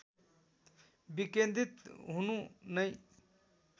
विकेन्द्रित हुनु नै